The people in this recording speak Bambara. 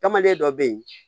Tamaden dɔ bɛ yen